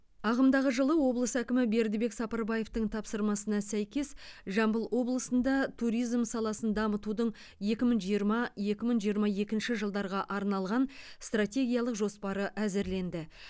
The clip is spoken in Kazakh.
ағымдағы жылы облыс әкімі бердібек сапарбаевтың тапсырмасына сәйкес жамбыл облысында туризм саласын дамытудың екі мың жиырма екі мың жиырма екінші жылдарға арналған стратегиялық жоспары әзірленді